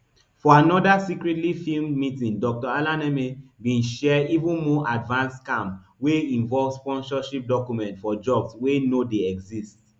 for anoda secretly filmed meeting dr alaneme bin share even more advanced scam wey involve sponsorship documents for jobs wey no dey exist